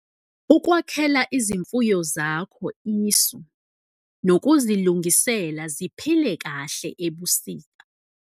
Ukwakhela izimfuyo zakho isu nokuzilungisela ziphile kahle ebusika.